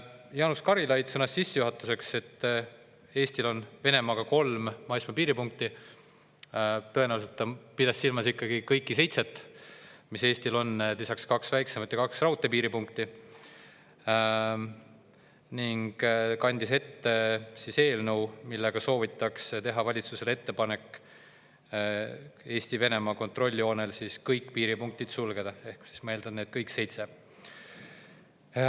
Jaanus Karilaid sõnas sissejuhatuseks, et Eestil on Venemaaga kolm maismaapiiripunkti – tõenäoliselt ta pidas silmas ikkagi kõiki seitset, mis Eestil on: lisaks kaks väiksemat ja kaks raudteepiiripunkti –, ning kandis ette eelnõu, millega soovitakse teha valitsusele ettepanek Eesti-Venemaa kontrolljoonel kõik piiripunktid sulgeda, ehk siis ma eeldan, et kõik seitse.